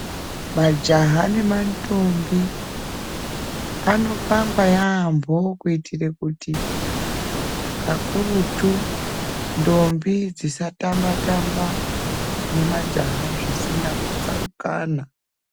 Majaha nemandombi anopangwa yambho kuitira kuti kakurutu ndombi dzisa tamba tamba nemajaha zvisina tsarukano.